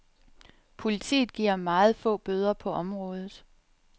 Politiet giver meget få bøder på området.